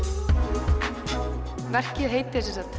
verkið heitir sem sagt